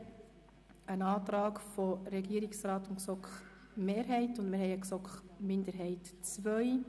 Hier liegen uns ein Antrag von Regierungsrat und GSoK-Mehrheit vor sowie ein Antrag der GSoK-Minderheit II.